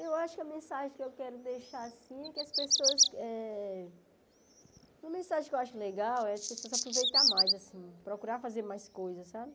Eu acho que a mensagem que eu quero deixar, assim, é que as pessoas eh... Uma mensagem que eu acho legal é as pessoas aproveitarem mais, assim, procurar fazer mais coisas, sabe?